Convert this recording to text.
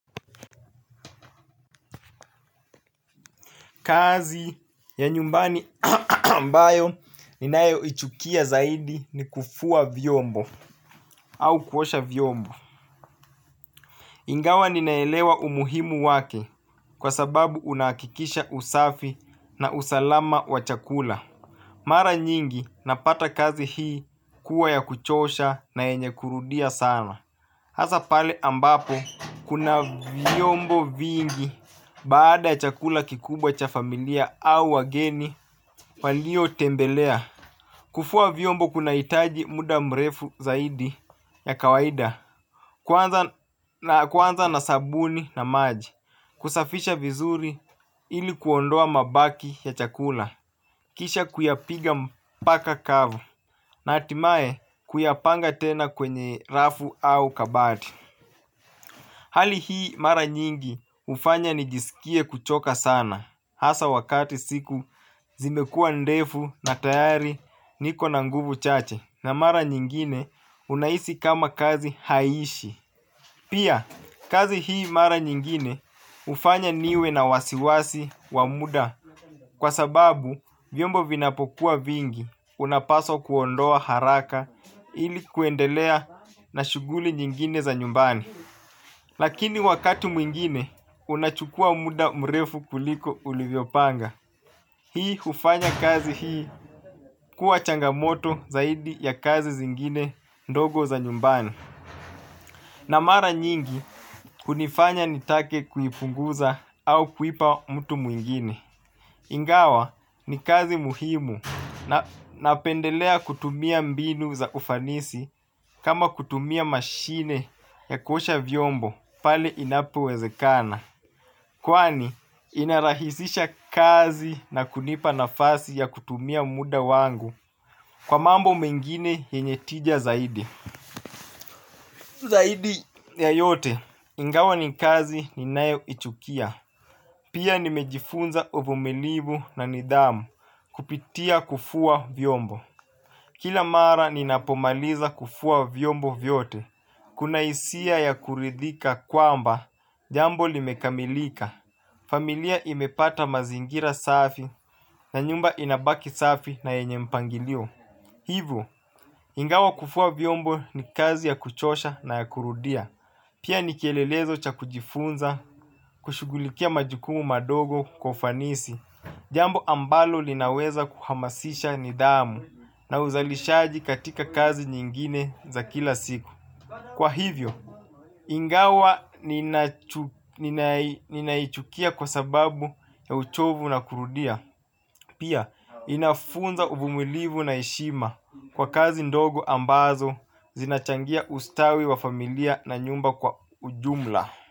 Kazi ya nyumbani ambayo ninayoichukia zaidi ni kufua vyombo au kuosha vyombo. Ingawa ninaelewa umuhimu wake kwa sababu unakikisha usafi na usalama wa chakula. Mara nyingi napata kazi hii kuwa ya kuchosha na yenye kurudia sana. Hasa pale ambapo kuna vyombo vingi baada ya chakula kikubwa cha familia au wageni walio tembelea. Kufua vyombo kunahitaji muda mrefu zaidi ya kawaida. Kwanza kuanza na sabuni na maji kusafisha vizuri ilikuondoa mabaki ya chakula. Kisha kuyapiga mpaka kavu na hatimae kuyapanga tena kwenye rafu au kabati. Hali hii mara nyingi hufanya nijisikie kuchoka sana hasa wakati siku zimekua ndefu na tayari niko na nguvu chache na mara nyingine unahisi kama kazi haiishi. Pia kazi hii mara nyingine hufanya niwe na wasiwasi wa muda kwa sababu vyombo vinapokuwa vingi unapaswa kuondoa haraka ili kuendelea na shughuli nyingine za nyumbani. Lakini wakati mwingine unachukua muda mrefu kuliko ulivyopanga. Hii ufanya kazi hii kuwa changamoto zaidi ya kazi zingine ndogo za nyumbani. Na mara nyingi, kunifanya nitake kuipunguza au kuipa mtu mwingine. Ingawa ni kazi muhimu napendelea kutumia mbinu za ufanisi kama kutumia mashine za kuoaha vyombo pale inapowezekana. Kwani, inarahisisha kazi na kunipa nafasi ya kutumia muda wangu kwa mambo mengine yenye tija zaidi. Ya yote, ingawa ni kazi ninayoichukia. Pia nimejifunza uvumilivu na nidhamu kupitia kufua vyombo. Kila mara ninapomaliza kufua vyombo vyote. Kuna hisia ya kuridhika kwamba jambo limekamilika. Familia imepata mazingira safi na nyumba inabaki safi na yenye mpangilio. Hivyo, ingawa kufua vyombo ni kazi ya kuchosha na ya kurudia. Pia ni kielelezo cha kujifunza kushughulikia majukumu madogo kwa ufanisi jambo ambalo linaweza kuhamasisha nidhamu na uzalishaji katika kazi nyingine za kila siku. Kwa hivyo, ingawa ninaichukia kwa sababu ya uchovu na kurudia, pia inafunza uvumulivu na heshima kwa kazi ndogo ambazo zinachangia ustawi wa familia na nyumba kwa ujumla.